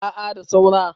a a da saura